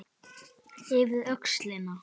Yfir öxlina.